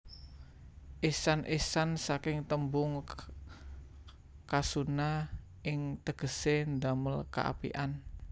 Ihsan Ihsan saking témbung khasuna ing tégésé damél kaapikan